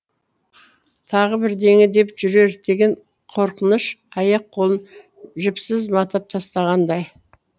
тағы бірдеңе деп жүрер деген қорқыныш аяқ қолын жіпсіз матап тастағандай